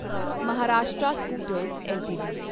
Maharashtra scooters LTD